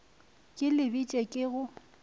ke le bitše ke go